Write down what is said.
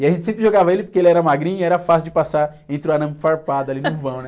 E a gente sempre jogava ele porque ele era magrinho, era fácil de passar entre o arame farpado ali no vão, né?